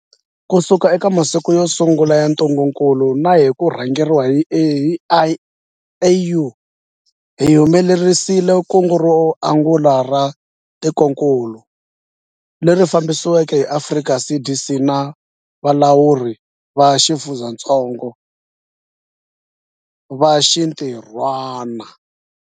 Kusuka eka masiku yo sungula ya ntungukulu na hi ku rhangeriwa hi AU, hi humelerisile kungu ro angula ra tikokulu, leri fambisiweke hi Afrika CDC na valawuri va xifundzatsongo va xintirhwana.